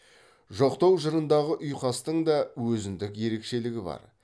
жоқтау жырындағы ұйқастың да өзіндік ерекшелігі бар